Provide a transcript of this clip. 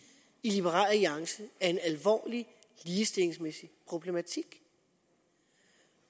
i liberal alliance er en alvorlig ligestillingsmæssig problematik